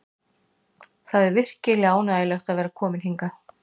Það er virkilega ánægjulegt að vera kominn hingað.